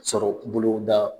Sɔrɔ bolo da.